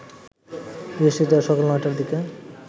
বৃহস্পতিবার সকাল ৯টার দিকে